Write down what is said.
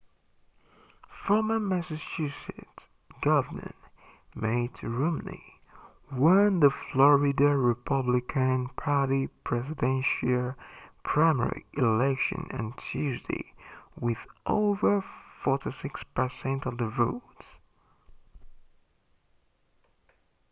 former massachusetts governor mitt romney won the florida republican party presidential primary election on tuesday with over 46% of the vote